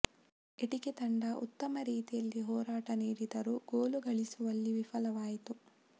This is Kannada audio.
ಎಟಿಕೆ ತಂಡ ಉತ್ತ ಮ ರೀತಿಯಲ್ಲಿ ಹೋರಾಟ ನೀಡಿದರೂ ಗೋಲು ಗಳಿಸುವಲ್ಲಿ ವಿಲವಾಯಿತು